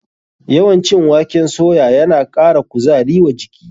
Yawan cin waken soya na ƙara kuzari wa jiki.